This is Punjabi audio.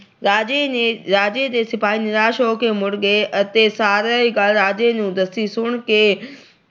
ਰਾਜੇ ਨੇ ਅਹ ਰਾਜੇ ਦੇ ਸਿਪਾਹੀ ਨਿਰਾਸ਼ ਹੋ ਕੇ ਮੁੜ ਗਏ ਅਤੇ ਸਾਰੀ ਗੱਲ ਰਾਜੇ ਨੂੰ ਦੱਸੀ। ਸੁਣ ਕੇ